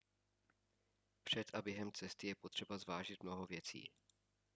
před a během cesty je potřeba zvážit mnoho věcí